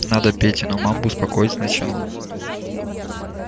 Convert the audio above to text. надо петину мамбу успокоить сначала